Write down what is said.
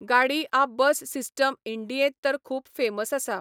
गाडी आ bus system इंडियेंत तर खूब फेमस आसा.